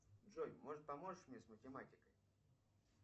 джой может поможешь мне с математикой